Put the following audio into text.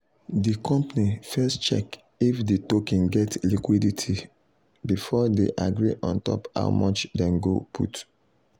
the company first check if the token get liquidity before they agree on top how much them go put.